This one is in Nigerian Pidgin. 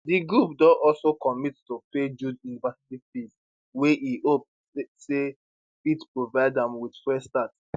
di group don also commit to pay jude university fees wey e hope sa fit provide am wit fresh start